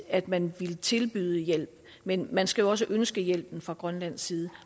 at man ville tilbyde hjælp men man skal jo også ønske hjælpen fra grønlandsk side